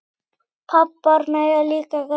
Pabbar mega líka gráta.